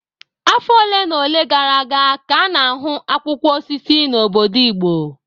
Afọ ole na ole gara aga ka a na-ahụ akwụkwọ osisi na obodo igbo